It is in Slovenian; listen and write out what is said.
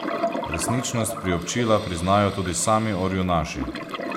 Resničnost priobčila priznajo tudi sami orjunaši.